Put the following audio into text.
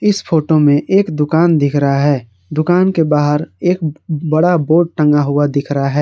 इस फोटो में एक दुकान दिख रहा है दुकान के बाहर एक बड़ा बोर्ड टंगा हुआ दिख रहा है।